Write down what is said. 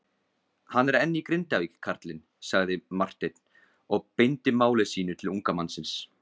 Hann er enn í Grindavík karlinn, sagði Marteinn og beindi máli sínu til unga mannsins.